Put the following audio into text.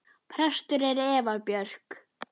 Prestur er Eva Björk.